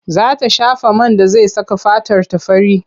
Za ta shafa man da zai saka fatarta fari.